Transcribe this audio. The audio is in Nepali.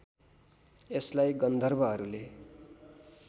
यसलाई गन्धर्वहरूले